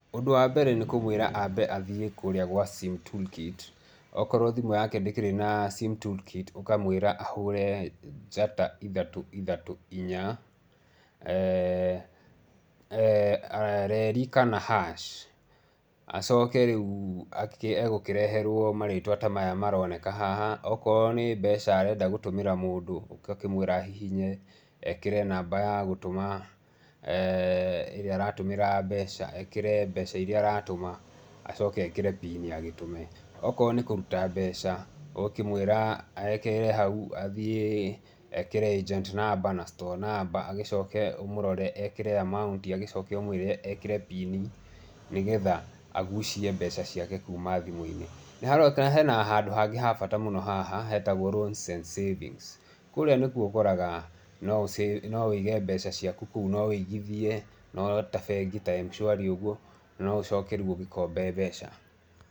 Ũndũ wa mbere nĩ kũmwĩra ambe athiĩ kũrĩa kwa sim toolkit. Akorũo thimũ yake ndĩkĩrĩ na sim tool kit, ukamwĩra ahũũre njata ithatũ ithatũ inya,{ee} reri kana hash, acoke rĩu egũkĩreherũo marĩtwa ta maya maroneka haha, akorũo nĩ mbeca arenda gũtũmĩra mũndũ, ugakĩmwĩra ahihinye, ekĩre namba ya gũtũma ĩrĩa aratũmĩra mbeca, ekĩre mbeca iria aratũma, acoke ekĩre pini agĩtũme. Akorũo nĩ kũruta mbeca, ũgũkĩmwĩra ehere hau, athiĩ ekĩre agent number na store number, agĩcoke ũmũrore ekĩre amount agĩcoke ũmwĩre ekĩre pini nĩ getha agucie mbeca ciake kuuma thĩmũ-inĩ. Nĩ haronekana he na handũ hangĩ ha bata mũno haha hetagwo loans and savings. Kũria nĩkuo ũkoraga no ũige mbeca ciaku kũu ,no ũigithie, no ta bengi, ta M-Shwari ũguo, no ũcoke rĩu ũgĩkombe mbeca.